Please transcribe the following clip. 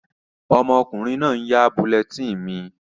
Ọmọkùnrin náà n yá bulletin mi